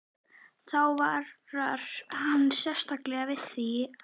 Þá varar hann sérstaklega við því, að